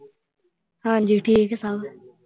ਹਾਂ ਜੀ ਠੀਕ ਹੈ ਸਭ।